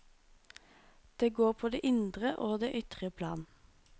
Det går på det indre og det ytre plan.